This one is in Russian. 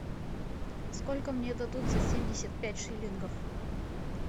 сколько мне дадут за семьдесят пять шиллингов